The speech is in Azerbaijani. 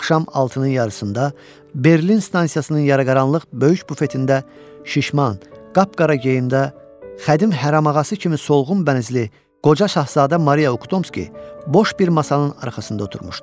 Axşam altının yarısında Berlin stansiyasının yaraqaranlıq böyük bufetində şişman, qapqara geyimdə, xədim hərəmağası kimi solğun bənizli qoca Şahzadə Maria Uktomski boş bir masanın arxasında oturmuşdu.